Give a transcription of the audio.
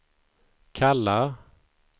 kallar